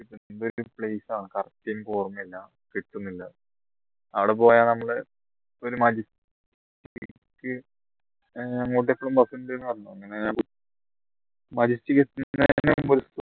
correct എനിക്ക് ഓർമ്മയില്ലാ കിട്ടുന്നില്ല അവിടെ പോയാൽ നമ്മൾ ഒരു മെജസ് ഏർ അങ്ങോട്ടേക്ക് എപ്പോഴും bus ഉണ്ട് എന്ന് പറഞ്ഞു അങ്ങനെ മെജസ്റ്റിക് എത്തി